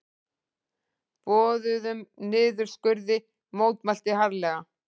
Boðuðum niðurskurði mótmælt harðlega